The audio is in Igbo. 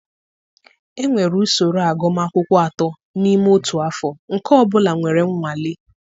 Enwere usoro agụmakwụkwọ atọ n'ime otu afọ, nke ọ bụla nwere nwale.